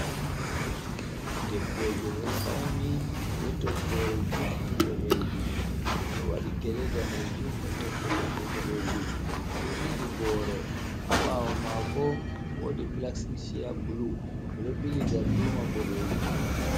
Debbojo ɗo fauni be toggore juɗɗum ɓoɗejum. Oɗo waɗi gele danejum e'toɓɓe toɓɓe boɗejum. Oɗo jogi boro, ha ɓawo mako wodi pilastik cheya bulu, ɓedo ɓili darduma boɗeji.